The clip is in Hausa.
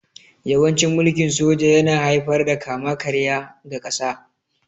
Yawancin mulkin soja yana haifar da kama-karya ga ƙasa